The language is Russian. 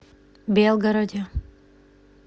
белгороде